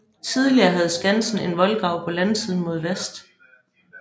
Tidligere havde Skansen en voldgrav på landsiden mod vest